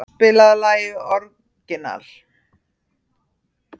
Ronald, spilaðu lagið „Orginal“.